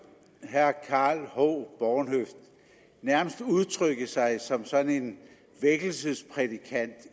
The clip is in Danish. herre karl h bornhøft nærmest udtrykke sig som sådan en vækkelsesprædikant